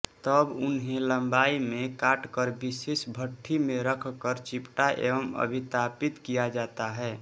तब इन्हें लंबाई में काटकर विशेष भट्ठी में रखकर चिपटा एवं अभितापित किया जाता है